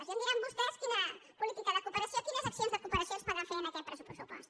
ja em diran vostès quina política de cooperació quines accions de cooperació es poden fer amb aquest pressupost